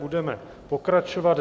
Budeme pokračovat.